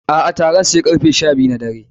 A'a, taron sai karfe sha biyu na dare.